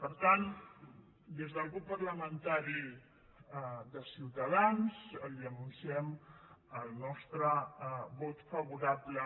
per tant des del grup parlamentari de ciutadans li anunciem el nostre vot favorable